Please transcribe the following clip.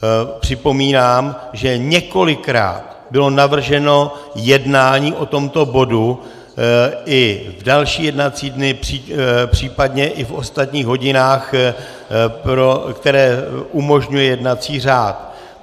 Připomínám, že několikrát bylo navrženo jednání o tomto bodu i v další jednací dny, příp. i v ostatních hodinách, které umožňuje jednací řád.